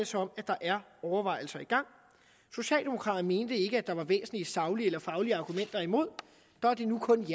som om at der er overvejelser i gang socialdemokraterne mente ikke at der var væsentlige saglige eller faglige argumenter imod der er det nu kun